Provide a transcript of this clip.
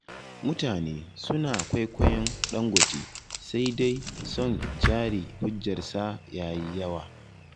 Mutane suna kwaikwayon Dangote, sai dai son jari hujjarsa ya yi yawa.